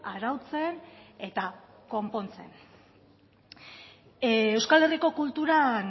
arautzen eta konpontzen euskal herriko kultural